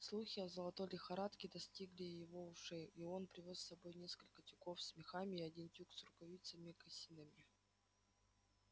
слухи о золотой лихорадке достигли и его ушей и он привёз с собой несколько тюков с мехами и один тюк с рукавицами и мокасинами